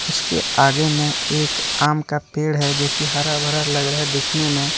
उसके आगे में एक आम का पेड़ है जोकि हरा भरा लग रहा है देखने में।